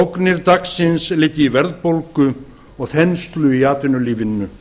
ógnir dagsins liggja í verðbólgu og þenslu í atvinnulífinu